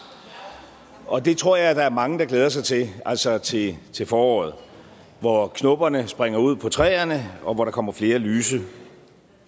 og det tror jeg der er mange der glæder sig til altså til til foråret hvor knopperne springer ud på træerne og hvor der kommer flere lyse